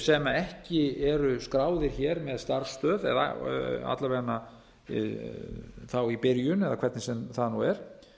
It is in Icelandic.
sem ekki eru skráðir hér með starfsstöð að minnsta kosti þá í byrjun eða hvernig sem það nú er